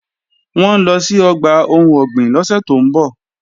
Wọ́n ń lọ sí ọgbà ohun ọ̀gbìn lọ́sẹ̀ tó ń bọ̀